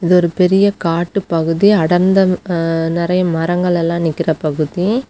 இது ஒரு பெரிய காட்டுப்பகுதி அடர்ந்த ஹா நெறைய மரங்கள் எல்லா நிக்கிற பகுதி.